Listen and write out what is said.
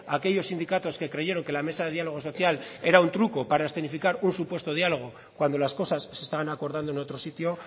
aquellos sindicatos que creyeron que la mesa de diálogo social era un truco para escenificar un supuesto diálogo cuando las cosas se estaban acordando en otro sitio